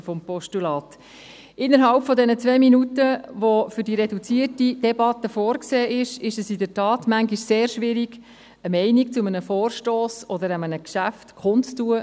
Innerhalb der zwei Minuten, die für die reduzierte Debatte vorgesehen sind, ist es in der Tat manchmal sehr schwierig, eine Meinung zu einem Vorstoss oder zu einem Geschäft kundzutun.